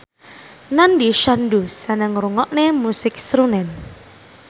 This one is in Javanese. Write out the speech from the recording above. Nandish Sandhu seneng ngrungokne musik srunen